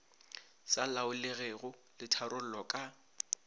sa laolegego le tharollo ka